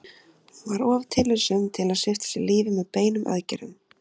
Hún var of tillitssöm til að svipta sig lífi með beinum aðgerðum.